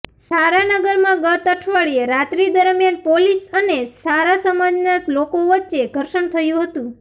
છારાનગરમાં ગત અઠવાડીયે રાત્રી દરમિયાન પોલીસ અને છારા સમાજના લોકો વચ્ચે ધર્ષણ થયું હતું